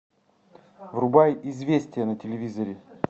врубай известия на телевизоре